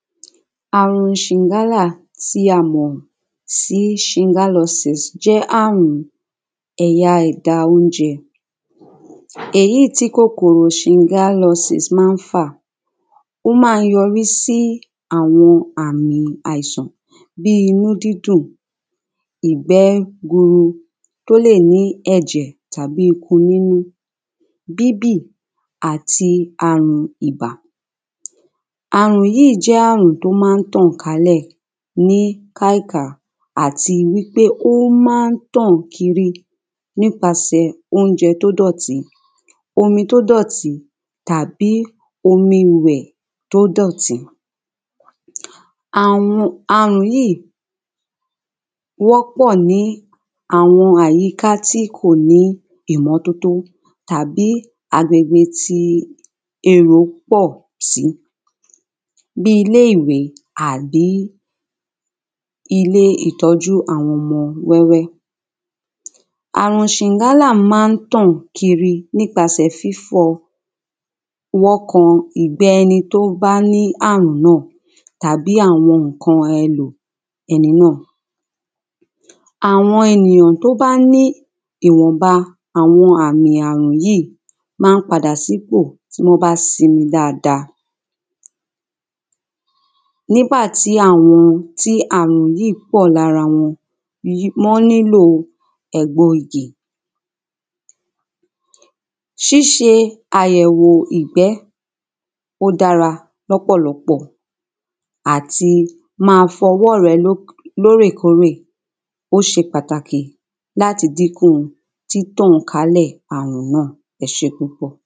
Àrùn ṣìgálà tí a mọ̀ sí Shigellosis jẹ́ àrùn ẹ̀ya ẹ̀da oúnjẹ, èyí tí kòkòrò shigellosis ma ń fà, ó ma ń yọrí sí àwọn àmì àìsàn, bí inú dídùn, ìgbé guru tó lè ní ẹ̀jẹ̀ tàbí ikun nínú, bíbì àti àrun ìbà. Àrùn yí jẹ́ àrùn tó ma ń tàn kálẹ̀ ní káíká, àti pé ó ma ní tàn kiri nípasẹ̀ oúnjẹ tó dọ̀tí, omi tó dọ̀tí, tàbí omi ìwẹ̀ tó dọ̀tí, àrùn yíì wọ́pọ̀ ní àwọn àyíká tí kò ní ìmọ́tótó tàbí agbègbè tí èrò pọ̀ sí, bí ilé ìwé àbí ilé ìtọ́jú àwọn ọmọ wẹ́wẹ́ Àrùn ṣìgálà má tàn kiri nìpasẹ̀ fífọwọ́ kan ìgbé ẹni tó bá ní àrùn náà, tàbí àwọn ǹkan ẹlò ẹni náà, àwọn ènìyàn tó bá ní ìwọ̀nba àwọn àmì àrùn yí, ma ń padà sípò, tí wọ́n bá simi dada, nígbà tí àwọn tí àrùn yí pọ̀ lára wọn, wọ́n nílò ẹ̀gbo igè, síse àyẹ̀wò ìgbé, ó dára lọ́pọ̀lọpọ̀ àti ma fọwọ́ rẹ lórèkórè, ó se pàtàkì láti dínkù títàn kálẹ̀ àrùn náà. ẹsẹ́ púpọ̀.